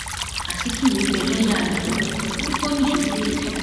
azikiwe bẹ lọọyà rẹ lọwẹ ò ní kó nìṣó nílẹẹjọ